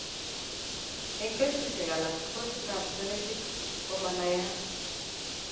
Eng' kesisiek alak kosit ab genetic komanaiyat